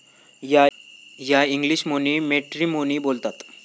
या इंग्लिशमोनी मॅट्रिमोनी बोलतात